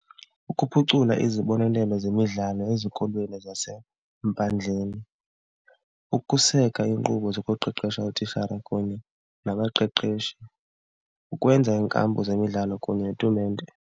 Ukuphucula izibonelelo zemidlalo ezikolweni zasempandleni, ukuseka iinkqubo zokuqeqesha ootishara kunye nabaqeqeshi, ukwenza iinkampu zemidlalo kunye netumente.